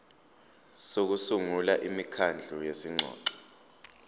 sokusungula imikhandlu yezingxoxo